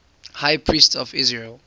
high priests of israel